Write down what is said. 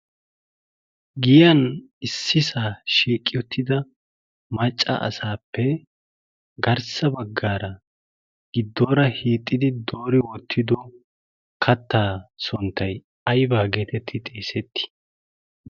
giyan issi saa shiiqqiy uttida macca asaappe garssa baggaara gidduwaara hiixxidi doori oottido kattaa sonttay aybaa geetetti xeesetti